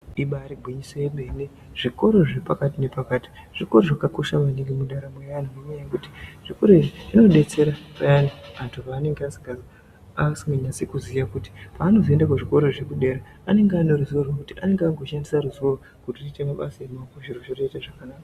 Ibari gwinyiso remene zvikora zvepakati nepakati zvikoro zvakakosha maningi mundaramo yeanhu nenyaya yekuti zvikoro izvi zvinodetsera payani anhu paanenge asinganyatsi kuziya kuti paanozoende kuzvikoro zvekudera anenge akungoshandise ruzivo rwezvikora zve pashi zviro zvotoite zvakanaka.